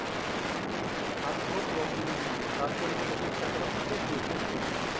ਸੱਤ ਸੋ ਫ੍ਲੋਪੀਆਂ ਦੀਆਂ memory ਸੱਤ ਸੋ ਨਹੀਂ ਲੇਕਿਨ ਘੱਟੋ ਘੱਟ ਸਾਢ਼ੇ ਛੇ ਸੋ ਫ੍ਲੋਪੀਆਂ